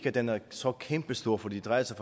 at den er så kæmpestor for det drejer sig